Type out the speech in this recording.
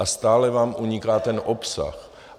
A stále vám uniká ten obsah.